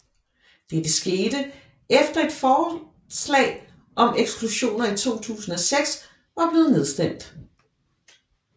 Dette skete efter et forslag om eksklusioner i 2006 var blevet nedstemt